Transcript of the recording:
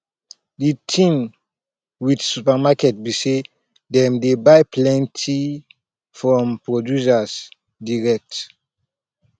di thing with supermarket be sey dem dey buy plenty from producer direct